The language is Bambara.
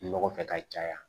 Nɔgɔ kɛ ka caya